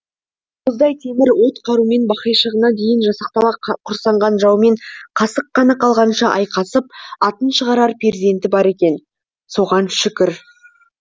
мұздай темір от қарумен бақайшығына дейін жасақтала құрсанған жаумен қасық қаны қалғанша айқасып атын шығарар перзенті бар екен соған шүкір